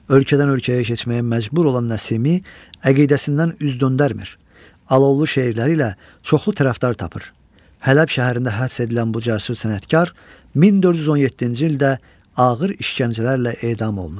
Ölkədən ölkəyə keçməyə məcbur olan Nəsimi əqidəsindən üz döndərmir, alovlu şeirləri ilə çoxlu tərəfdar tapır, Hələb şəhərində həbs edilən bu cəsur sənətkar 1417-ci ildə ağır işgəncələrlə edam olunur.